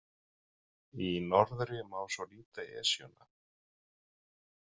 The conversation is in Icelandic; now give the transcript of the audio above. Í norðri má svo líta Esjuna.